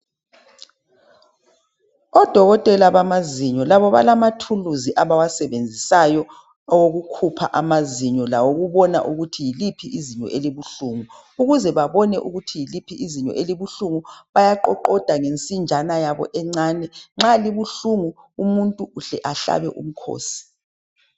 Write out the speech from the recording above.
Odokotela bamazinyo labo balamathuluzi abawasebenzisayo owokukhupha amazinyo lawokubona ukuthi yiliphi izinyo elibuhlungu .Ukuze babone ukuthi yiliphi izinyo elibuhlungu, bayaqoqoda ngensinjana yabo encane, nxa libuhlungu umuntu uhle ahlabe umkhosi.